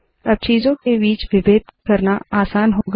अब चीजों के बीच विभेद करना आसान होगा